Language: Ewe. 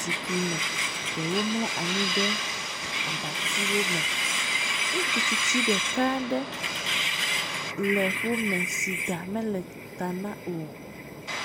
zikpui me, ɖewo mlɔ anyi ɖe abatiwo me. Ŋutsu tsitsi ɖeka aɖe le wo me si ɖa mele ta na o.